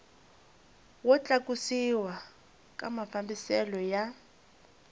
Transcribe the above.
wo tlakusiwa ka mafambiselo ya